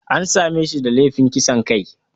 An same shi da laifin kisan kai.